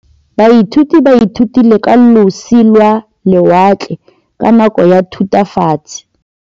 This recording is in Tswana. Baithuti ba ithutile ka losi lwa lewatle ka nako ya Thutafatshe.